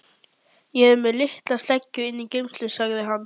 Ég er með litla sleggju inni í geymslu, sagði hann.